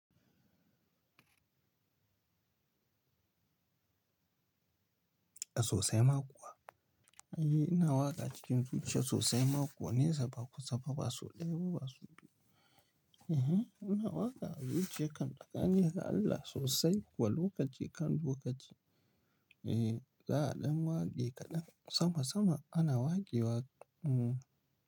A sosai ma kuwa. Eh, ina waƙa cikin zuciya sosai makuwa, nesa ba kusa ba, ba sau ɗaya ba, ba sau biyu, Ehen, ina waƙa a zuciya kan, tsakani ga Allah sosai kuwa, lokaci kan lokaci. Eh, za a ɗan waƙe kaɗan, sama sama ana waƙewa, hmm.